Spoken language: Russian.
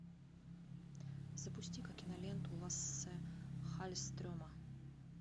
запусти ка киноленту лассе халльстрема